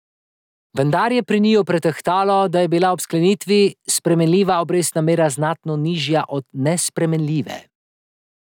Vendar je pri njiju pretehtalo, da je bila ob sklenitvi spremenljiva obrestna mera znatno nižja od nespremenljive.